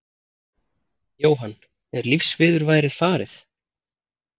Jóhann: Er lífsviðurværið farið?